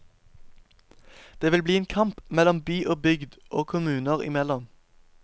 Det vil bli en kamp mellom by og bygd, og kommuner imellom.